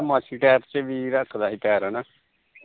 ਬਦਮਾਸ਼ੀ ਟੈਪ ਚ ਵੀ ਰੱਖਦਾ ਸੀ ਪੈਰ ਹਨਾ